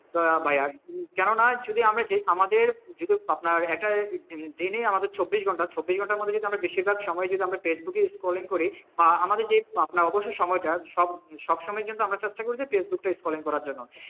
কেন না যদি আমি আমাদের আমাদের চব্বিশ ঘন্টা বেশিরভাগ সময় যদি আমরা ফেসবুকে scrolling আমাদের যে অবস্যই সময় তা সবসময় কিন্তু আমরা just ফেইসবুক তা scrolling করার জন্য,